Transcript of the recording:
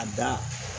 A dan